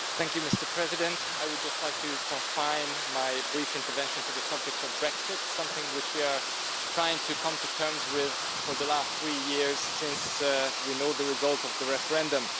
Mr President, I would just like to confine my brief intervention to the subject of Brexit, something which we have been trying to come to terms with for the last three years since we knew the result of the referendum.